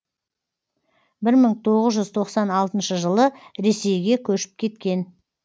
бір мың тоғыз жүз тоқсан алтыншы жылы ресейге көшіп кеткен